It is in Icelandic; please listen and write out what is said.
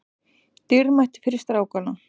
Dýrmætt fyrir strákana